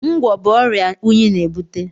Ngwọ̀ bụ ọrịa unyi na-ebute.